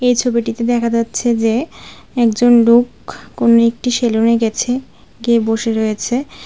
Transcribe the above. ছবিটিতে দেখা যাচ্ছে যে একজন লোক কোন একটি সেলুনে গেছে গিয়ে বসে রয়েছে।